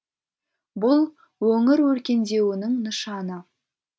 бұл өңір өркендеуінің нышаны